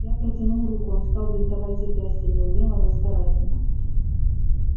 я протянул руку он стал бинтовать запястье неумело но старательно